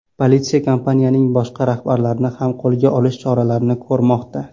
Politsiya kompaniyaning boshqa rahbarlarini ham qo‘lga olish choralarini ko‘rmoqda.